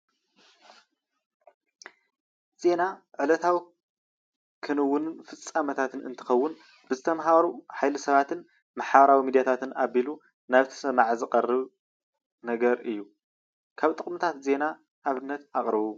ዜና ዕለታዊ ክንውንን ፍፄሜታትን እንትኸውን ብዝተማሃሩ ሓየሊ ሰባት ማሕበራዊ ሚድያታትን ኣቢሉ ናብ እቲ ሰማዒ ዝቀርብ ነገር እዩ። ካብ ጥቅምታት ዜና ኣብነታት ኣቅርቡ።